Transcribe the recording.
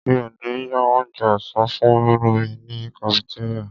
Mi ò ní ra onjẹ ọ̀sán fúnmi ní kafitéríà.